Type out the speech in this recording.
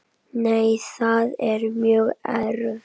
Nei, það er mjög erfitt.